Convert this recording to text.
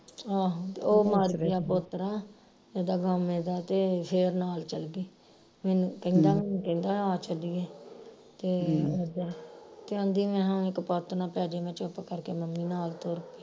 ਆਹੋ ਤੇ ਉਹ ਮਰ ਗਿਆ ਪੋਤਰਾ ਇਹਦਾ ਗਾਮੇ ਦਾ ਤੇ ਫਿਰ ਨਾਲ ਚਲ ਗਈ ਮੈਨੂੰ ਕਹਿੰਦਾ ਮੈਨੂੰ ਕਹਿੰਦਾ ਆ ਚਲੀਏ ਤੇ ਤੇ ਆਂਦੀ ਮੈਂ ਹਾ ਕੁਪੱਤ ਨਾ ਪੇ ਜਾਏ ਮੈਂ ਚੁੱਪ ਕਰਕੇ ਮੰਮੀ ਨਾਲ ਤੁਰ ਪਈ